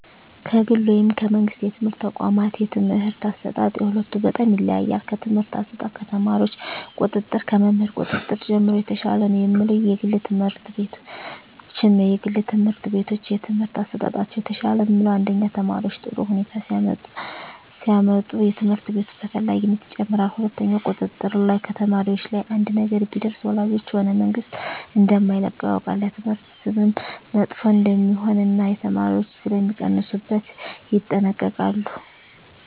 ከግል ወይም ከመንግሥት የትምህርት ተቋዋማት የትምህርት አሰጣጥ የሁለቱ በጣም ይለያያል ከትምህርት አሰጣጥ ከተማሪዎች ቁጥጥር ከመምህር ቁጥጥር ጀምሮ የተሻለ ነው ምለው የግል ትምህርት ቤቶችን ነዉ የግል ትምህርት ቤቶች የትምህርት አሠጣጣቸው የተሻለ ምለው አንደኛ ተማሪዎች ጥሩ ውጤት ሲያመጡ የትምህርት ቤቱ ተፈላጊነት ይጨምራል ሁለትኛው ቁጥጥር ላይ ከተማሪዎች ላይ አንድ ነገር ቢደርስ ወላጆች ሆነ መንግስት እደማይለቀው ያውቃል ለትምህርት ስምም መጥፎ እደሜሆን እና የተማሪዎች ሥለሚቀንሡበት ይጠነቀቃሉ